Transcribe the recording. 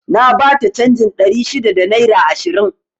Na bata canjin ɗari shida da naira ishirin